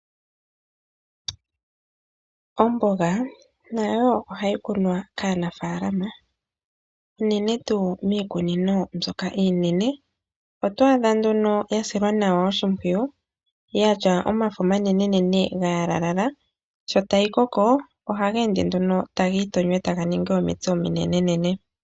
Omboga nayo ohayi kunwa kaanafaalama unene tuu miikunino mbyoka iinene, oto adha nduno yasilwa nawa oshimpwiyu yatya omafo omanenene gayalalala shotayi koko ohageende nduno tagii tonyo etaga ningi omitse ominenene.